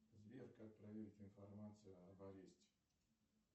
сбер как проверить информацию об аресте